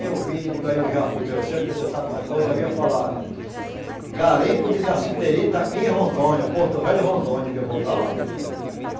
Eu vim, digo, aí eu já fui crescendo, que você sabe uma coisa, eu via falar... Garimpo de Cassiterita, em Rondônia, Porto Velho Rondônia, digo, eu vou para lá.